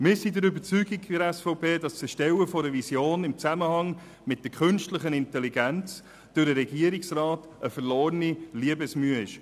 Seitens der SVP sind wir überzeugt, dass das Erstellen einer Vision im Zusammenhang mit der künstlichen Intelligenz durch den Regierungsrat eine verlorene Liebensmühe wäre.